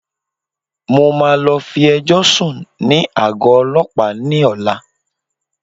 Mo máa lọ fi ẹjọ́ sùn ní àgọ́ Ọlọ́pàá ni ọ̀la.